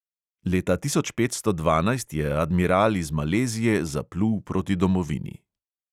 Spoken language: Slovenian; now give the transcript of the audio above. Leta tisoč petsto dvanajst je admiral iz malezije zaplul proti domovini.